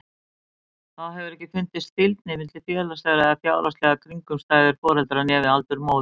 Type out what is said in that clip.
Þá hefur ekki fundist fylgni við félagslegar eða fjárhagslegar kringumstæður foreldra né við aldur móður.